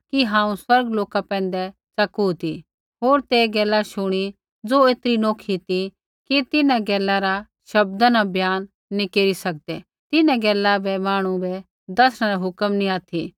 कि हांऊँ स्वर्गा लोका पैंधै च़किरा ती होर तै गैला शुणी ज़ो ऐतरी नौखी ती कि तिन्हां गैला रा शब्दा न बयान नैंई केरी सकदै तिन्हां गैला बै मांहणु बै दसणै रा हुक्म नी ऑथि